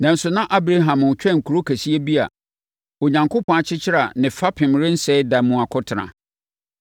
Nanso, na Abraham retwɛn kuro kɛseɛ bi a Onyankopɔn akyekyere a ne fapem rensɛe da mu akɔtena.